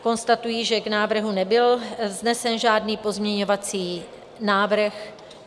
Konstatuji, že k návrhu nebyl vznesen žádný pozměňovací návrh.